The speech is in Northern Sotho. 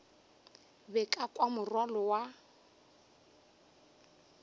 be ka kwa morwalo wa